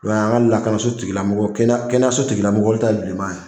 N'o ye an ka lakanaso tigila mɔgɔ kɛnɛya kɛnɛyaso tigila mɔgɔw olu ta ye bilema ye.